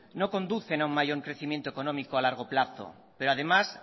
no conducen a un mayor crecimiento económico a largo plazo pero además